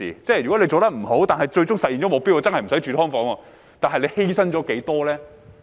如果做得不好，但最終實現了目標，真的不用住"劏房"，但犧牲了多少呢？